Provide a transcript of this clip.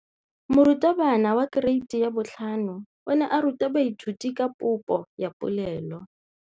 Moratabana wa kereiti ya 5 o ne a ruta baithuti ka popô ya polelô.